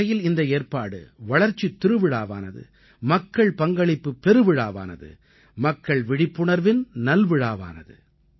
ஒருவகையில் இந்த ஏற்பாடு வளர்ச்சித் திருவிழாவானது மக்கள் பங்களிப்புப் பெருவிழாவானது மக்கள் விழிப்புணர்வின் நல்விழாவானது